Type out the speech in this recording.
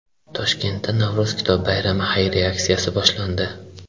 Toshkentda Navro‘z kitob bayrami xayriya aksiyasi boshlandi.